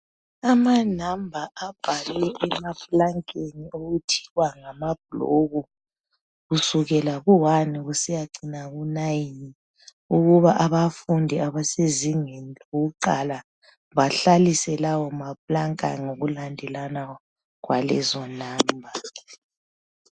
Amanamba ebhalwe emaplankeni, okuthiwa ngamabloku. Kusukela Ku 1 kusiya ku 9. Ukuthi abafundi abakuviyo lokuqala, bahlalise lawomaplanka, ngokulandelana kwalezonanba.